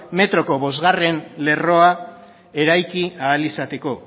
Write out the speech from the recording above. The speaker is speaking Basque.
metroko bostgarrena lerroa eraiki ahal izateko